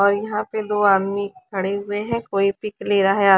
और यहाँ पे दो आदमी खड़े हुए हैं कोई पिक ले रहा है अ--